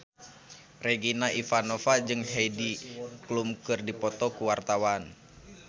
Regina Ivanova jeung Heidi Klum keur dipoto ku wartawan